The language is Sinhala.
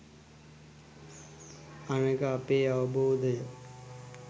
අනෙක අපේ අවබෝධය